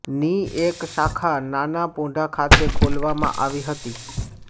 ની એક શાખા નાનાપોંઢા ખાતે ખોલવામાં આવી હતી